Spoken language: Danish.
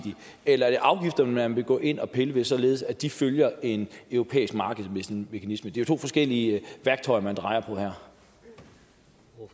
eller er det afgifterne man vil gå ind at pille ved således at de følger en europæisk markedsmekanisme det er jo to forskellige værktøjer man drejer